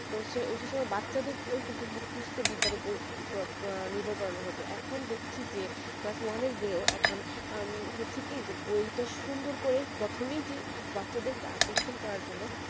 তো সে সেই হিসাবে বাচ্চাদের কে ও কিন্তু মুখস্ত বিদ্যা উপর আহ নির্ভর করানো হতো এখন দেখছি যে class one এর বই ও এখন আহ হচ্ছে কি যে বই তো সুন্দর করে যে প্রথমেই যে বাচ্চাদের কে আকর্ষণ করার জন্য